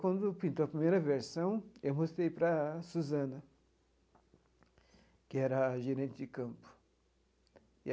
Quando pintou a primeira versão, eu mostrei para a Susana, que era a gerente de campo.